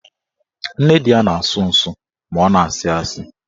Nne di ya na-asụ nsụ ma ọ na-asị asị